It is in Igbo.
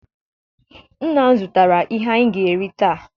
Nna m zụtara ihe anyị ga-eri taa